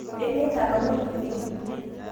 Enyeita lomon oleng